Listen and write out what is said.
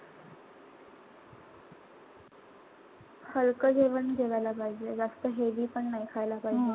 हलकं जेवण जेवायला पाहिजे. जास्त heavy पण नाई खायला पाहिजे.